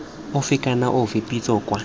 ofe kana ofe pitso kwa